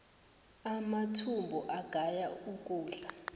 amathumbu agaya ukudla